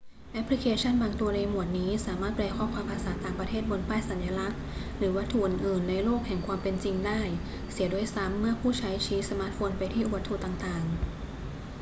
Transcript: แอปพลิเคชั่นบางตัวในหมวดนี้สามารถแปลข้อความภาษาต่างประเทศบนป้ายสัญลักษณ์หรือวัตถุอื่น ๆ ในโลกแห่งความเป็นจริงได้เสียด้วยซ้ำ เมื่อผู้ใช้ชี้สมาร์ทโฟนไปที่วัตถุต่าง ๆ